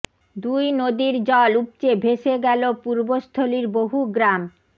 দুই নদীর জল উপচে ভেসে গেল পূর্বস্থলীর বহু গ্রাম